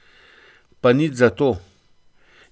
Pa nič zato.